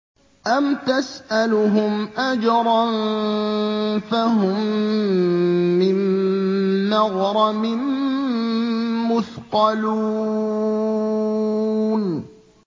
أَمْ تَسْأَلُهُمْ أَجْرًا فَهُم مِّن مَّغْرَمٍ مُّثْقَلُونَ